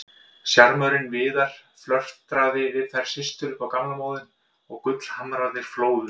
Sjarmörinn Viðar, flörtaði við þær systur upp á gamla móðinn og gullhamrarnir flóðu.